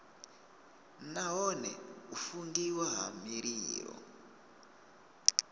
nahone u fungiwa ha mililo